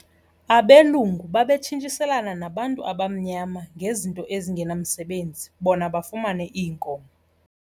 Abelungu babetshintshiselana nabantu abamnyama ngezinto ezingenamsebenzi bona bafumane iinkomo.